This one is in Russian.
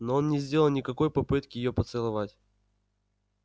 но он не сделал никакой попытки её поцеловать